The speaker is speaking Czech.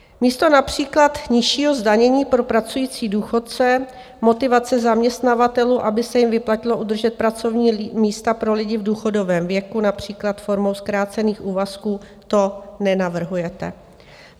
Místo například nižšího zdanění pro pracující důchodce, motivace zaměstnavatelů, aby se jim vyplatilo udržet pracovní místa pro lidi v důchodovém věku, například formou zkrácených úvazků, to nenavrhujete.